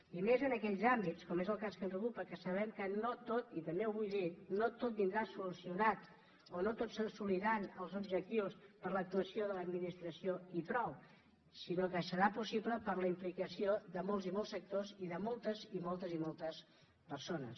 i més en aquells àmbits com és el cas que ens ocupa que sa·bem que no tot i també ho vull dir vindrà solucionat o no tots assoliran els objectius per l’actuació de l’admi·nistració i prou sinó que serà possible per la implicació de molts i molts sectors i de moltes i moltes persones